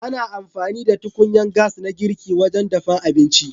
Ana amfani da tukunyan gas na girki wajen dafan abinci.